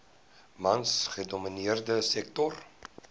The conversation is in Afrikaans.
mans gedomineerde sektor